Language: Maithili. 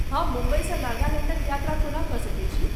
हम मुम्बईसँ नागालैण्डक यात्रा कोना कऽ सकैत छी?